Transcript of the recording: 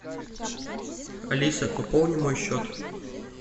алиса пополни мой счет